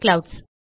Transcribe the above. clouds